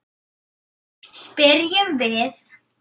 spyrjum við.